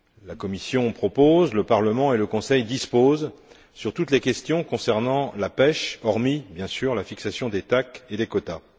La Commission propose, le Parlement et le Conseil disposent sur toutes les questions concernant la pêche, hormis, bien sûr, la fixation des TAC et des quotas.